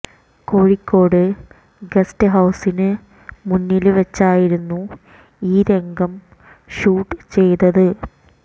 Kozhikode guest ഹൌസിനു മുന്നില് വെച്ചായിരുന്നു ഈ രംഗം ഷൂട്ട് ചെയ്തത്